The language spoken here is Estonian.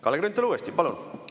Kalle Grünthal uuesti, palun!